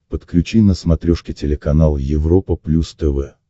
подключи на смотрешке телеканал европа плюс тв